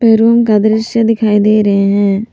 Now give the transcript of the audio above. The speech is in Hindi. पे रूम का दृश्य दिखाई दे रहे हैं।